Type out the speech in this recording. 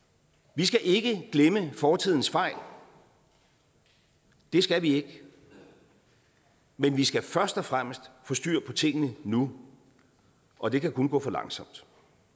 vi skal ikke glemme fortidens fejl det skal vi ikke men vi skal først og fremmest få styr på tingene nu og det kan kun gå for langsomt